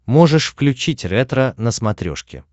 можешь включить ретро на смотрешке